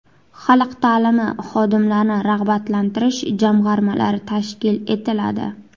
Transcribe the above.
Xalq ta’limi xodimlarini rag‘batlantirish jamg‘armalari tashkil etiladi.